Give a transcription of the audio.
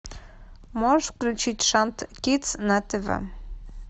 можешь включить шант кидс на тв